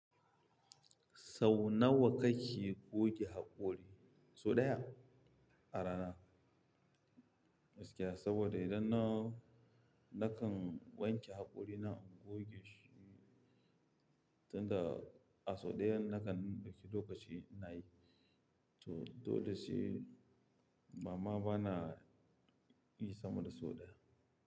Sau nawa kake goge haƙori? So ɗaya a rana. Gaskiya, saboda idan na, nakan wanke haƙori na goge shi, tunda a so ɗayan nakan ɗauki lokaci nayi. To, dole sai amma bana yi sama da so ɗaya.